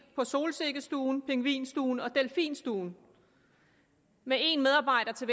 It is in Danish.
på solsikkestuen pingvinstuen og delfinstuen med en medarbejder